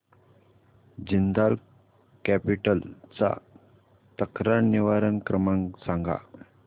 Jindal capital चा तक्रार निवारण क्रमांक सांग